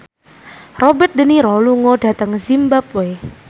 Robert de Niro lunga dhateng zimbabwe